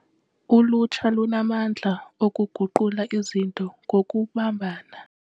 Ulutsha lunamandla okuguqula izinto ngokubambana.